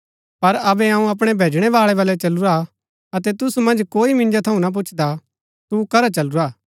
पर अबै अऊँ अपणै भैजणैवाळै बलै चलूरा हा अतै तुसु मन्ज कोई मिन्जो थऊँ ना पुच्छदा तू करा चलूरा